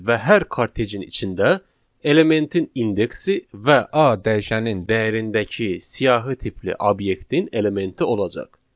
Və hər kortecin içində elementin indeksi və A dəyişənin dəyərindəki siyahı tipli obyektin elementi olacaq.